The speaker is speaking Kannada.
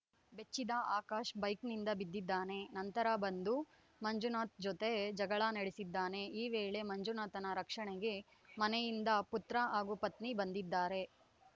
ಬೆಚ್ಚಿದ ಆಕಾಶ್‌ ಬೈಕ್‌ನಿಂದ ಬಿದ್ದಿದ್ದಾನೆ ನಂತರ ಬಂದು ಮಂಜುನಾಥ್‌ ಜೊತೆ ಜಗಳ ನಡೆಸಿದ್ದಾನೆ ಈ ವೇಳೆ ಮಂಜುನಾಥನ ರಕ್ಷಣೆಗೆ ಮನೆಯಿಂದ ಪುತ್ರ ಹಾಗೂ ಪತ್ನಿ ಬಂದಿದ್ದಾರೆ